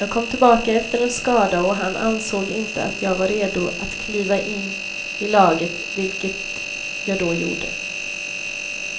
Jag kom tillbaka efter en skada och han ansåg inte att jag var redo att kliva in i laget, vilket jag då gjorde.